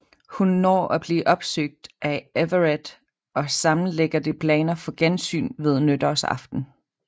Hun når at blive opsøgt af Everett og sammen ligger de planer for gensyn ved nytårsaften